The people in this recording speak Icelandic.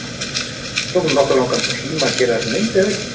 Það tók nú nokkuð langan tíma að gera þessa mynd er það ekki?